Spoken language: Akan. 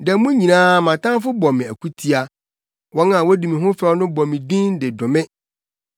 Da mu nyinaa mʼatamfo bɔ me akutia. Wɔn a wodi me ho fɛw no bɔ me din de dome.